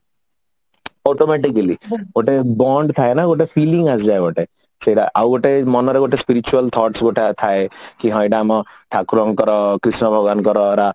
ଗୋଟେ band ଥାଏ ନା ଗୋଟେ filling ଆସିଯାଏ ଗୋଟେ ସେଟା ଆଉ ଗୋଟେ ମନରେ ଗୋଟେ spiritual thoughts ଗୋଟାଏ ଥାଏ କି ହେଇଟା ଆମ ଠାକୁରଙ୍କର କ୍ରୀଷ୍ଣ ଭଗବାନଙ୍କ ଦ୍ଵାରା